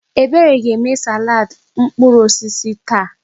Ebere ga-eme salaadị mkpụrụ osisi taa.